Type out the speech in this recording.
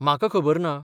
म्हाका खबर ना.